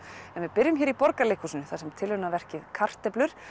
en við byrjum hér í Borgarleikhúsinu þar sem tilraunaverkið kartöflur